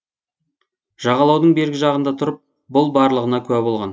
жағалаудың бергі жағында тұрып бұл барлығына куә болған